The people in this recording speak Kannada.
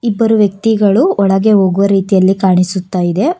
ಇಬ್ಬರು ವ್ಯಕ್ತಿಗಳು ಒಳಗೆ ಹೋಗುವ ರೀತಿಯಲ್ಲಿ ಕಾಣಿಸುತ್ತಾಇದೆ.